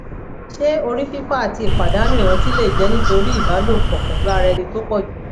ṣé orí fifo àti ìpàdánù ìrántí lè jẹ nítorí iba lopo pelu ara eni tó pọjù